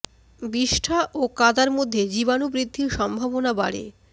বিষ্ঠা ও কাদার মধ্যে জীবাণু বৃদ্ধির সম্ভাবনা বাড়ে